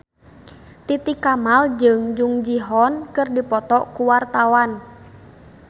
Titi Kamal jeung Jung Ji Hoon keur dipoto ku wartawan